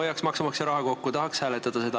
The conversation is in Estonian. Hoiaks maksumaksja raha kokku, tahaks hääletada seda.